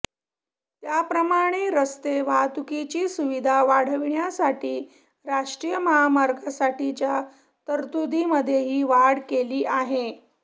त्याप्रमाणे रस्ते वाहतुकीची सुविधा वाढविण्यासाठी राष्ट्रीय महामार्गांसाठीच्या तरतुदीमध्येही वाढ केली आहे